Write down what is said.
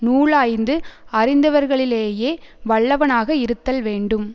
நூலாய்ந்து அறிந்தவர்களிலேயே வல்லவனாக இருத்தல் வேண்டும்